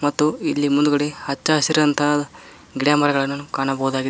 ಮತ್ತು ಇಲ್ಲಿ ಮುಂದ್ಗಡೆ ಹಚ್ಚ ಹಸಿರಾದಂತಹ ಗಿಡಮರಗಳನ್ನು ಕಾಣಬಹುದಾಗಿದೆ.